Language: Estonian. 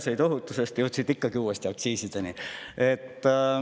Meresõiduohutusest jõudsid ikkagi uuesti aktsiisideni.